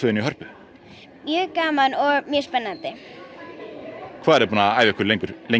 í Hörpu gaman og spennandi búin að æfa mjög lengi